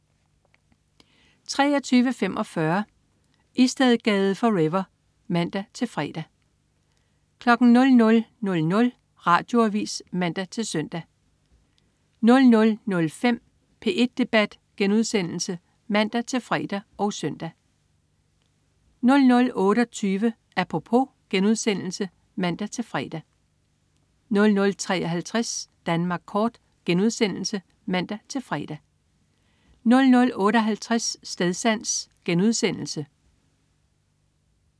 23.45 Istedgade forever (man-fre) 00.00 Radioavis (man-søn) 00.05 P1 Debat* (man-fre og søn) 00.28 Apropos* (man-fre) 00.53 Danmark kort* (man-fre) 00.58 Stedsans*